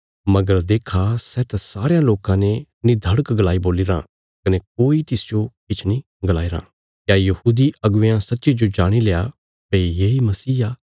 मगर देक्खा सै त सारयां लोकां ने निधड़क गलाई बोलीराँ कने कोई तिसजो किछ नीं गलाईरां क्या यहूदी अगुवेयां सच्चीजो जाणील्या भई येई मसीह आ